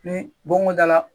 Ni bon ko da la